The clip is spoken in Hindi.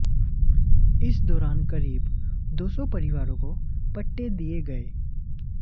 इस दौरान करीब दो सौ परिवारों को पट्टे दिए गए